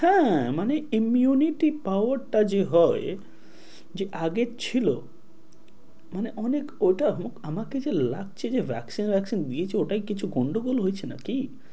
হ্যাঁ মানে immunity power টা যে হয়, যে আগে ছিল, মানে অনেক ওটা হোক আমাকে যে লাগছে যে vaccine দিয়েছে ওটায় কিছু গন্ডগোল হয়েছে নাকি?